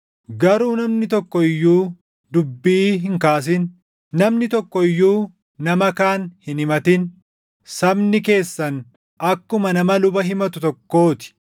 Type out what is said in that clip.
“Garuu namni tokko iyyuu dubbii hin kaasin; namni tokko iyyuu nama kaan hin himatin; sabni keessan akkuma nama luba himatu tokkoo ti.